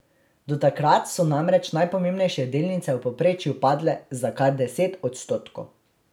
Do takrat so namreč najpomembnejše delnice v povprečju padle za kar deset odstotkov.